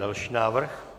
Další návrh?